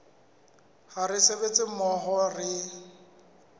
ha re sebetsa mmoho re